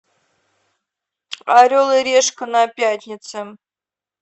орел и решка на пятнице